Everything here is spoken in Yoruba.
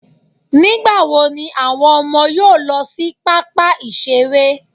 Nígbà wo ni àwọn ọmọ yóò lọ sí pápá ìṣeré?